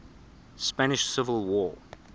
spanish civil war